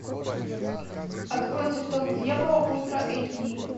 открой цветок дьявола ультра эйч ди